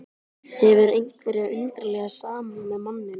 Hefur einhverja undarlega samúð með manninum.